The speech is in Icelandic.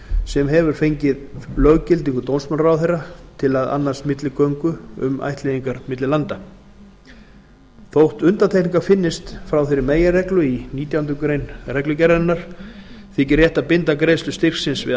sem hefur fengið löggildingu dómsmálaráðherra til að annast milligöngu um ættleiðingar milli landa þótt undantekningar finnist frá þeirri meginreglu í nítjánda grein reglugerðarinnar þykir rétt að binda greiðslu styrksins við